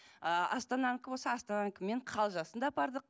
ы астананікі болса астананікімен қалжасын да апардық